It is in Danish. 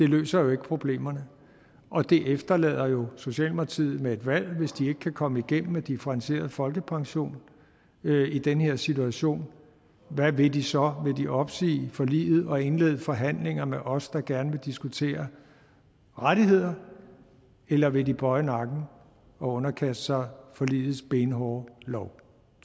løser problemerne og det efterlader socialdemokratiet med et valg hvis de ikke kan komme igennem med differentieret folkepension i den her situation hvad vil de så vil de opsige forliget og indlede forhandlinger med os der gerne vil diskutere rettigheder eller vil de bøje nakken og underkaste sig forligets benhårde lov